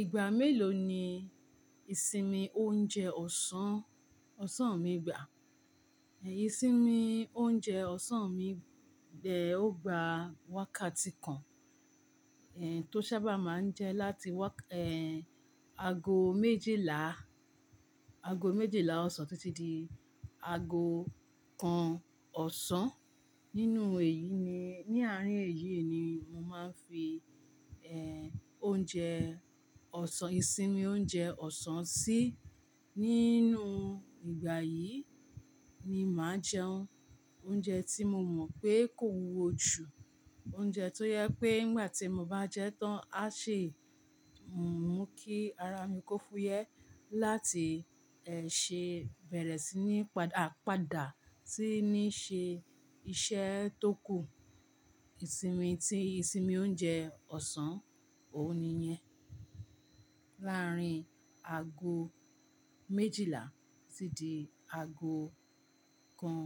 Ìgbà mélòó ni ìsinmi oúnjẹ ọ̀sán, ọ̀sán mi gbà? Ẹ̀yin sí ni oúnjẹ ọ̀sán mi bẹ́ ọ gbà wákàtí kan, ẹ́ń, tó sábà máa ń jẹ́ láti wák-- ẹ́ń, ago méjìlá, ago méjìlá ọ̀sán títí di ago kan ọ̀sán. Nínú èyí ni, ní àárín èyí ni mo máa ń fi ẹ́ń, oúnjẹ ọ̀sán, ìsinmi oúnjẹ ọ̀sán sí. Nínú ìgbà yìí ni màá jẹun. Oúnjẹ tí mo mọ̀ pé kò wúwo jù, oúnjẹ tó jẹ pé nígbà tí mo bá jẹ ẹ́ tán á ṣi mo. Mú kí ara mi kó fúyẹ́ láti ẹ́ ṣé bẹ̀rẹ̀ sí ní padà, a padà sí ní ṣe iṣẹ́ tó kù. Ìsinmi tí, ìsinmi oúnjẹ ọ̀sán, òun ni yẹn. Lárin ago méjìlá títí di ago kan